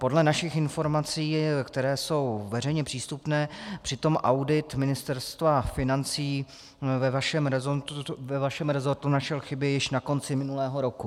Podle našich informací, které jsou veřejně přístupné, přitom audit Ministerstva financí ve vašem resortu našel chyby již na konci minulého roku.